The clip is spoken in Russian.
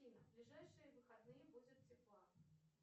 афина в ближайшие выходные будет тепло